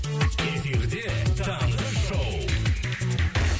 эфирде таңғы шоу